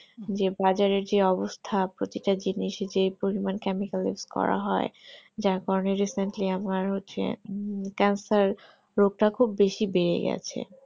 যে বাজারে যে অবস্থা প্রত্যেকটা জিনিস যে পরীমনিক chemical use এ করা হয় যার কারণে recently আমার হচ্ছে cancer রোগটা খুব বেশি বেড়ে গেছে